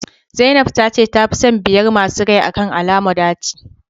zainab tace ta fi son biyar masu rai akan alomo daci